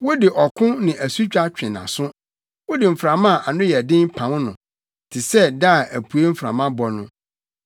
Wode ɔko ne asutwa twe nʼaso, wode mframa a ano yɛ den pam no te sɛ da a apuei mframa bɔ no.